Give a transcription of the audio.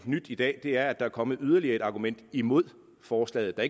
i dag er at der er kommet yderligere et argument imod forslaget der